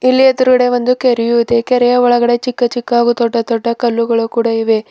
ಇಲ್ಲೇ ಎದುರುಗಡೆ ಒಂದು ಕೆರೆಯು ಇದೆ ಕೆರೆಯ ಒಳಗಡೆ ಚಿಕ್ಕ ಚಿಕ್ಕ ಹಾಗೂ ದೊಡ್ಡ ದೊಡ್ಡ ಕಲ್ಲುಗಳು ಕೂಡ ಇವೆ.